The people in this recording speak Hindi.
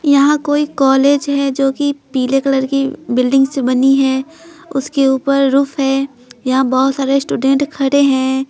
यहां कोई कॉलेज हैजो कि पीले कलर की बिल्डिंग से बनी है उसके ऊपर रूफ है यहां बहुत सारे स्टूडेंट खड़े हैं।